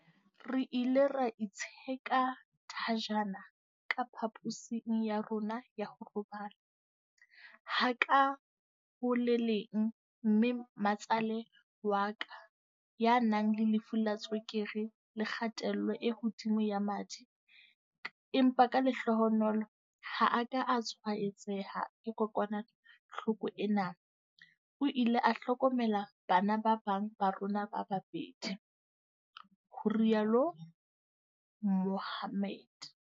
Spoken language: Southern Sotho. Re ile ra itsheka thajana ka pha-posing ya rona ya ho robala, ha ka ho le leng mme matsale wa ka, ya nang le lefu la tswekere le kgatello e hodimo ya madi empa ka lehlohonolo ha a ka a tshwaetseha ke kokwanahloko ena, o ile a hlokomela bana ba bang ba rona ba babedi, ho rialo Mohammed.